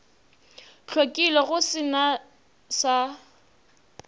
hlwekile go se na sa